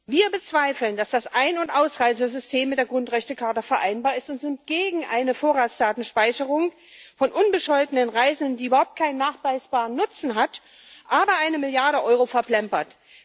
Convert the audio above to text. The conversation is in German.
Wir bezweifeln, dass das Ein und Ausreisesystem mit der Grundrechtecharta vereinbar ist, und sind gegen eine Vorratsdatenspeicherung von unbescholtenen Reisenden, die überhaupt keinen nachweisbaren Nutzen hat, aber eine Milliarde Euro verplempert.